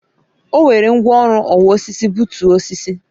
O were ngwaọrụ ọwa osisi gbutu osisi